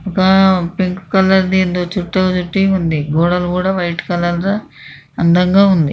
Wow pink colour ది ఏదో చుట్టూ చుట్టి ఉంది. గోడలు కూడా వైట్ కలర్ లో అందం గా ఉంది.